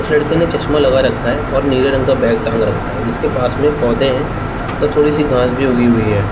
उस लड़के ने चश्मा लगा रखा है और नीले रंग का बैग टांग रखा है जिसके पास में एक पौधे है थोड़ी सी घास भी उगी हुई है।